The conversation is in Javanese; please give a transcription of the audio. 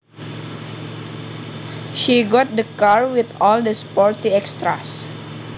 She got the car with all the sporty extras